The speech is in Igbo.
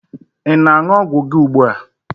Ị na-aṅụ ọgwụ gị ugbua?